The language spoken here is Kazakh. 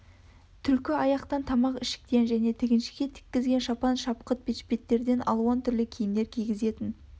түлкі аяқтан тамақ ішіктен және тіғіншіге тіккізген шапан-шапқыт бешпеттерден алуан түрлі киімдер кигізетін